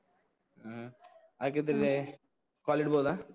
ಹ್ಮ್, ಹಾಗಿದ್ರೆ call ಇಡ್ಬೋದಾ?